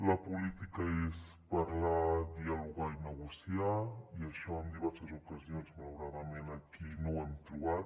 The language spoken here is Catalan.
la política és parlar dialogar i negociar i això en diverses ocasions malauradament aquí no ho hem trobat